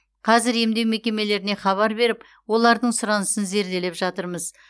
қазір емдеу мекемелеріне хабар беріп олардың сұранысын зерделеп жатырмыз